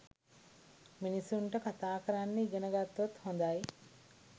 මිනිසුන්ට කතා කරන්න ඉගෙන ගත්තොත් හොඳයි.